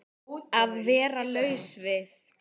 Að vera laus við